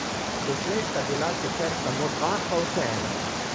Doslej sta bila sicer samo dva, pa vseeno.